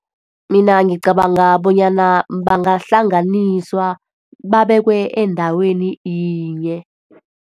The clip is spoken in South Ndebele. Mina ngicabanga bonyana bangahlanganiswa, babekwe endaweni yinye.